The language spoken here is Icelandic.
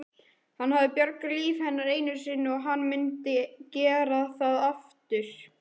Hann hafði bjargað lífi hennar einu sinni og hann myndi gera það aftur.